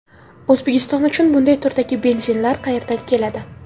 O‘zbekiston uchun bunday turdagi benzinlar qayerdan keladi?.